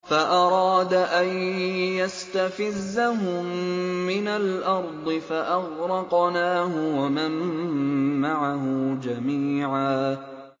فَأَرَادَ أَن يَسْتَفِزَّهُم مِّنَ الْأَرْضِ فَأَغْرَقْنَاهُ وَمَن مَّعَهُ جَمِيعًا